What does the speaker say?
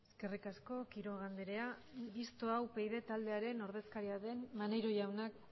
eskerrik asko quiroga andrea mistoa upyd taldearen ordezkaria den maneiro jaunak